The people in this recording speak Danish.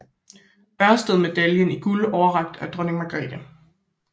Ørsted Medaljen i Guld overrakt af Dronning Margrethe